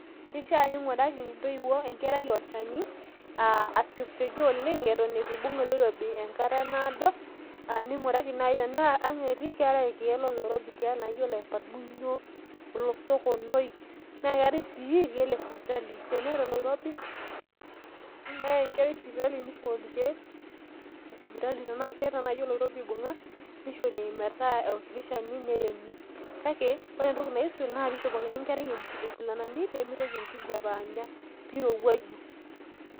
keishaa ning'uraki intoiwuo enkerai olchani asiokisioki aton etu ibung' enkerai oloirobi oleng' ,tenaa ang' etii ning'uraki enkerai oleparmunywuo, oskonoi, naa ketae sii irkeek lesipitali, teneeta oloirobi neyai enkerai sipitali nishori irkeek lesipitali tenaa ekeeta naaji oloirobo oibung'a nishori olshani neremi kake ore entoki naaisul naa pishopokini enkerai inkilani nairowua pee irowuaju .